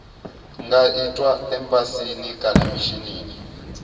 nga itwa embasini kana mishinini